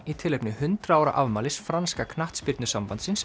í tilefni hundrað ára afmælis franska